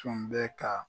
Tun bɛ ka